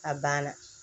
A banna